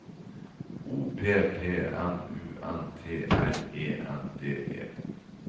O P P M U N T R E N D E